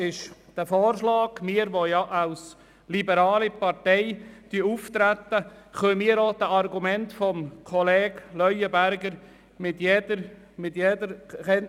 Wir, die wir als liberale Partei auftreten, können den Argumenten des Kollegen Leuenberger folgen.